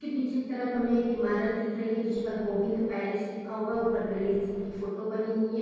की पीछे की तरफ हमे एक ईमारत दिख रही है जिस पर गोविन्द पैलेस लिखा हुआ है उपर गणेश जी की फोटो बनी हुई है।